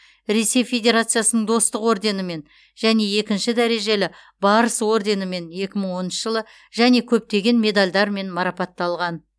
ресей федерациясының достық орденімен және екінші дәрежелі барыс орденімен екі мың оныншы және көптеген медальдармен марапатталған